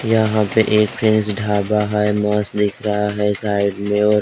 यहाँ पे एक प्रिन्स ढाबा हैं मस्त दिख रहा हैं साइड मैं और।